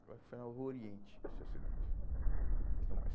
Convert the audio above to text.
Foi foi na Rua Oriente esse acidente.